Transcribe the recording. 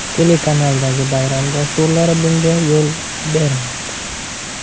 Telekanaldagi bayram dasturlari bunga yo‘l bermaydi.